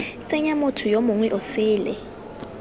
tsenya motho yo mongwe osele